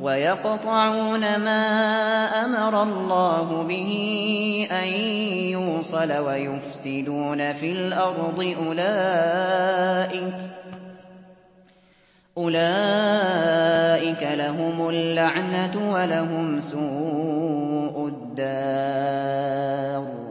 وَيَقْطَعُونَ مَا أَمَرَ اللَّهُ بِهِ أَن يُوصَلَ وَيُفْسِدُونَ فِي الْأَرْضِ ۙ أُولَٰئِكَ لَهُمُ اللَّعْنَةُ وَلَهُمْ سُوءُ الدَّارِ